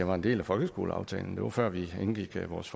var en del af folkeskoleaftalen det var før vi indgik vores